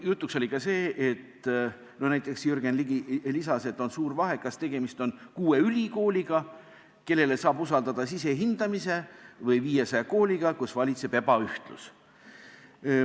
Jutuks oli see, mida näiteks Jürgen Ligi lisas, et on suur vahe, kas tegemist on kuue ülikooliga, kellele saab usaldada sisehindamise, või 500 kooliga, kus valitseb ebaühtlus.